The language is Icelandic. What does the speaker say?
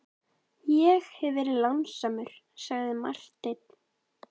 Ég hef verið lánsamur, sagði Marteinn.